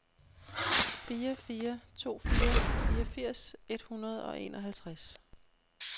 fire fire to fire fireogfirs et hundrede og enoghalvtreds